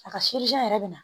A ka yɛrɛ bɛ na